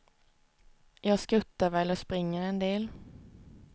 Jag skuttar väl och springer en del.